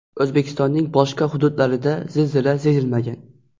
O‘zbekistonning boshqa hududlarida zilzila sezilmagan.